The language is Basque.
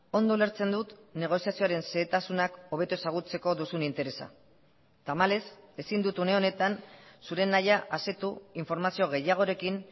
ondo ulertzen dut negoziazioaren xehetasunak hobeto ezagutzeko duzun interesa tamalez ezin dut une honetan zure nahia asetu informazio gehiagorekin